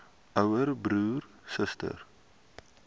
ouer broer suster